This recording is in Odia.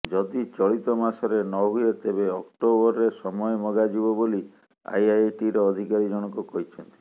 ଯଦି ଚଳିତ ମାସରେ ନ ହୁଏ ତେବେ ଅକ୍ଟୋବରରେ ସମୟ ମଗାଯିବ ବୋଲି ଆଇଆଇଟିର ଅଧିକାରୀ ଜଣକ କହିଛନ୍ତି